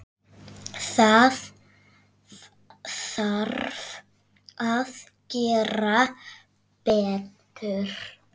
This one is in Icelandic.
Það þarf að gera betur.